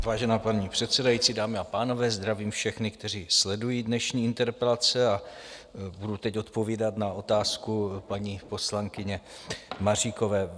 Vážená paní předsedající, dámy a pánové, zdravím všechny, kteří sledují dnešní interpelace, a budu teď odpovídat na otázku paní poslankyně Maříkové.